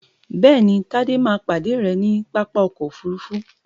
bẹ́ẹ̀ni, Tádé máa pàdé rẹ ní Pápá ọkọ̀ òfurufú